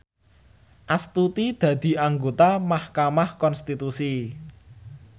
Astuti dadi anggota mahkamah konstitusi